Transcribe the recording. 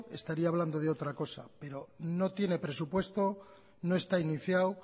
estaría hablando de otra cosa pero no tiene presupuesto no está iniciado